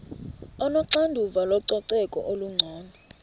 onoxanduva lococeko olungcono